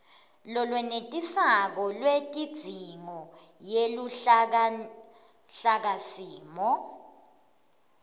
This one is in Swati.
lolwenetisako lwetidzingo yeluhlakasimo